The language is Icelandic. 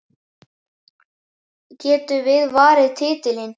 Getum við varið titilinn?